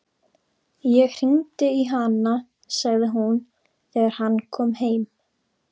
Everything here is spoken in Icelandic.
Ég hringdi í hana, sagði hún þegar hann kom heim.